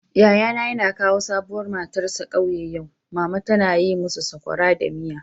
Yayana yana kawo sabuwar matarsa kauye yau. Mama tana yi musu sokora da miya.